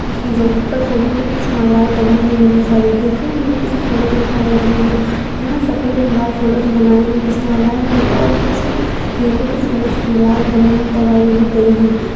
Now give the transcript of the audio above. किसी जगह पर फ़ूलों की कुछ मालाएं टँगी हुई नज़र आ रही है। देखने मैं ये किसी फ़ूलों की दुकान लग रही है। यहाँ सफ़ेद और लाल फ़ूलों से बनाई हुई कुछ मालाएं हैं और कुछ गेंदे के फ़ूलों से मालाएं बनी हुईं टँगाई हुई गई हैं।